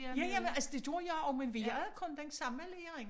Ja ja men altså det gjorde jeg også men vi havde kun den samme lærerinde